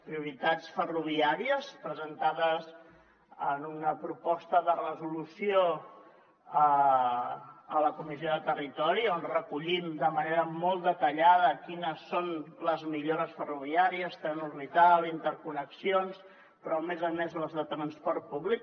prioritats ferroviàries presentades en una proposta de resolució a la comissió de territori on recollim de manera molt detallada quines són les millores ferroviàries tren orbital interconnexions però a més a més les de transport públic